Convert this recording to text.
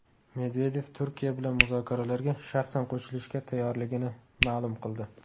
Medvedev Turkiya bilan muzokaralarga shaxsan qo‘shilishga tayyorligini ma’lum qildi.